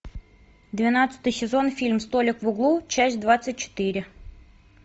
двенадцатый сезон фильм столик в углу часть двадцать четыре